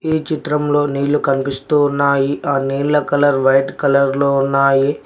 ఈ చిత్రంలో నీళ్లు కనిపిస్తూ ఉన్నాయి ఆ నీళ్ల కలర్ వైట్ కలర్ లో ఉన్నాయి.